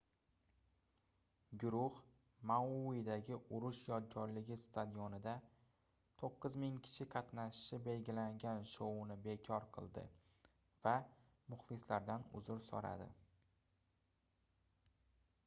guruh mauidagi urush yodgorligi stadionida 9000 kishi qatnashishi belgilangan shouni bekor qildi va muxlislaridan uzr soʻradi